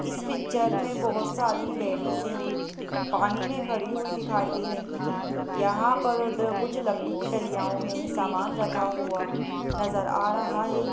इस पिक्चर में बहुत सारी लेडीजे पानी में खड़ी हुई दिखाई दे रही हैं यहां पर कुछ लकड़ी की डलियाओं में समान रखा हुआ नजर आ रहा है।